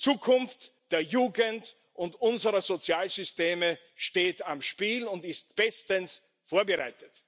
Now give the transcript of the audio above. Die Zukunft der Jugend und unserer Sozialsysteme steht auf dem Spiel und ist bestens vorbereitet.